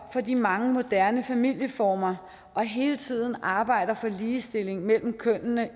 for de mange moderne familieformer og hele tiden arbejder for ligestilling mellem kønnene